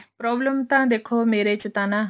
problem ਤਾਂ ਦੇਖੋ ਮੇਰੇ ਚ ਤਾਂ ਨਾ